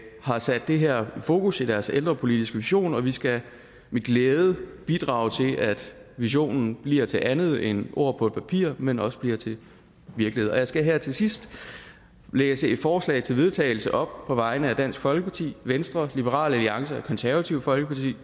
har sat det her i fokus i deres ældrepolitiske vision og vi skal med glæde bidrage til at visionen bliver til andet end ord på et papir men også bliver til virkelighed jeg skal her til sidst læse et forslag til vedtagelse op på vegne af dansk folkeparti venstre liberal alliance og det konservative folkeparti